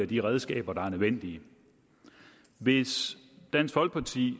de redskaber der er nødvendige hvis dansk folkeparti